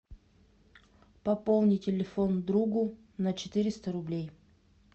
пополни телефон другу на четыреста рублей